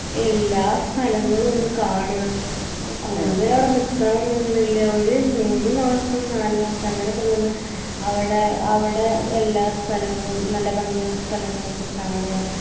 എല്ലാ സ്ഥലങ്ങളൊന്ന് കാണാ കൂടുതലവിടെ നിക്കണം ന്ന് ഒന്നൂല്യ ഒര് മൂന്ന് മാസം നാല് മാസം അങ്ങനയൊക്കെ നിന്ന് അവ്ടെ അവ്ടെ എല്ലാ സ്ഥലനങ്ങളും നല്ല ഭംഗിള്ള സ്ഥലങ്ങളൊക്കെ കാണാ